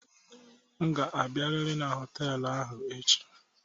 M ga-abịarịrị na họtelụ ahụ echi!